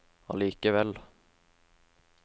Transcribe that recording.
allikevel